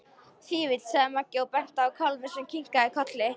Fífill, sagði Maggi og benti á kálfinn sem kinkaði kolli.